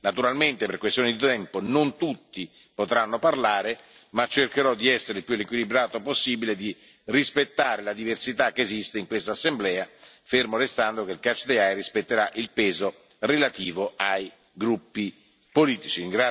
Naturalmente, per questioni di tempo, non tutti potranno parlare, ma cercherò di essere il più equilibrato possibile e di rispettare la diversità che esiste in questa Assemblea, fermo restando che il catch the eye rispetterà il peso relativo ai gruppi politici.